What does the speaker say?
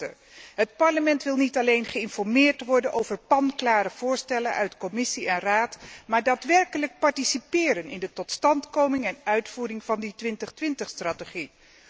Voorzitter, het Parlement wil niet alleen geïnformeerd worden over panklare voorstellen van Commissie en Raad, maar daadwerkelijk participeren in de totstandkoming en uitvoering van de 2020 strategie.